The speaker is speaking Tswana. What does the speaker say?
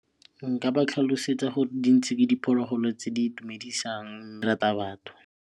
Nka ba tlhalosetsa gore dintshi ke diphologolo tse di itumedisang di rata batho.